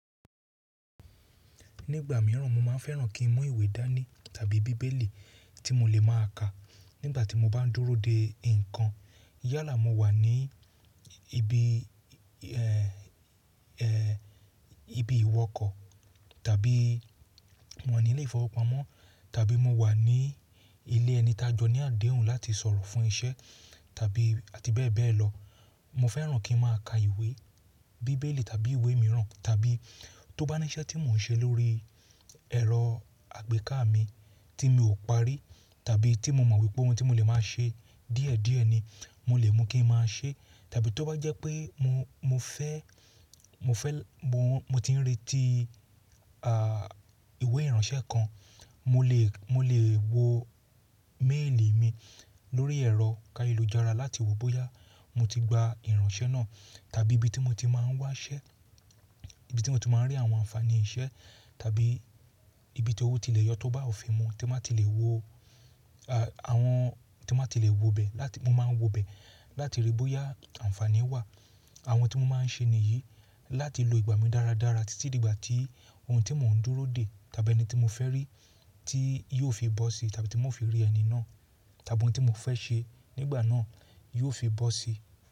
Nígbà mìíràn mo máa fẹ́ràn kí n mu ìwé dánì tàbí bíbélì tí mo lè má a ka nígbà tí mo bá ń dúró de nǹkan. Yálà mo wà ní ibi, ẹ́ẹ́, ibi ìwọkọ̀ tàbí mo wà ní ilé ìfowópamọ́ tàbí mo wà ní ilé ẹni tá jọ ní àdéhùn láti sọ̀rọ̀ fún iṣẹ́ tàbí àti bẹ́ẹ̀ bẹ́ẹ̀ lọ. Mo fẹ́ràn kí n má a ka ìwé, bíbélì tàbí ìwé mìíràn tàbí tó bá ní iṣẹ́ tí mò ń ṣe lórí ẹ̀rọ àgbéká mi tí mi ò parí tàbí tí mo mọ̀ wípé ohun tí mo lè máa ṣe díẹ̀ díẹ̀ ni, mo lè mú kí n máa ṣe tàbí tó bá jẹ́ pé mo, mo fẹ́, mo fẹ́, mo ń, mo ti ń retí, àà, ìwé ìránṣẹ́ kan, mo lè, mo lè wo méèlì mi lórí ẹ̀rọ kayelú jára láti wo bóyá mo ti gba ìránṣẹ́ náà tàbí ibi tí mo ti máa ń wá iṣẹ́, ibi tí mo ti máa ń rí àwọn àǹfààní iṣẹ́ tàbí ibi tí owó ti lè yọ tó bá òfin mu tí a máa ti lè wo, àà, àwọn tí a máa ti lè wo bẹ̀ láti mo máa ń wo bẹ̀ láti rí bóyá àǹfààní wà. Àwọn tí mo máa ń ṣe nìyí láti lo ìgbà mi dáradára títí di ìgbà tí ohun tí mò ń dúró dè tàbí ẹni tí mo fẹ́ rí tí yóò fi bọ́ sí tàbí tí mo fi rí ẹni náà tàbí ohun tí mo fẹ́ ṣe nígbà náà yóò fi bọ́ sí.